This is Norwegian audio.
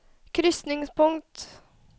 krysningspunkt